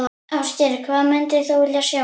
Ásgeir: Hvað myndir vilja sjá?